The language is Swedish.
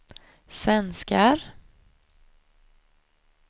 svenskar